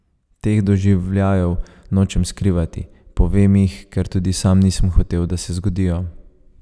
Teh doživljajev nočem skrivati, povem jih, ker tudi sam nisem hotel, da se zgodijo.